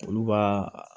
Olu baa